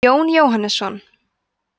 jón jóhannesson